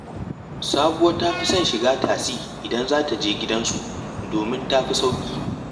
Sabuwa ta fi son shiga tasi idan za ta je gidansu, domin ta fi sauƙi